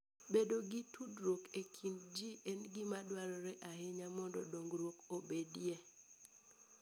Bedo gi tudruok e kind ji en gima dwarore ahinya mondo dongruok obedie.